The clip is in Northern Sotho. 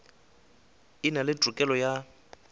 e na le tokelo ya